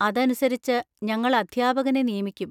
അതനുസരിച്ച് ഞങ്ങൾ അധ്യാപകനെ നിയമിക്കും.